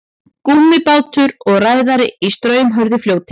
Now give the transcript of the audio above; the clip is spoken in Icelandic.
Gúmmíbátur og ræðari í straumhörðu fljóti.